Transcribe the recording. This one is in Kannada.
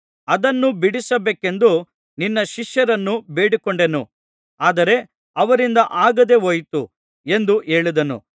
ಅದನ್ನು ಬಿಡಿಸಬೇಕೆಂದು ನಿನ್ನ ಶಿಷ್ಯರನ್ನು ಬೇಡಿಕೊಂಡೆನು ಆದರೆ ಅವರಿಂದ ಆಗದೆಹೋಯಿತು ಎಂದು ಹೇಳಿದನು